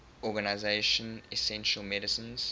organization essential medicines